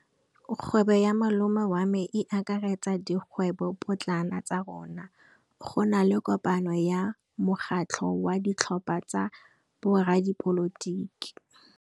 Kgwêbô ya malome wa me e akaretsa dikgwêbôpotlana tsa rona. Go na le kopanô ya mokgatlhô wa ditlhopha tsa boradipolotiki.